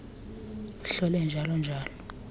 hlole njalo njalo